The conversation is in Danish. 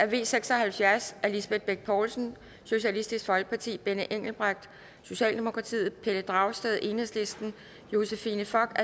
v seks og halvfjerds af lisbeth bech poulsen benny engelbrecht pelle dragsted josephine fock